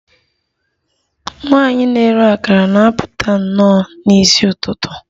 Nwanyị na-ere akara na-apụta nnọọ n'isi ụtụtụ